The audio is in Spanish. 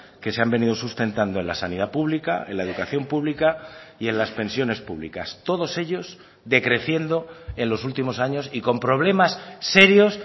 que se han venido sustentando en la sanidad pública en la educación pública y en las pensiones públicas todos ellos decreciendo en los últimos años y con problemas serios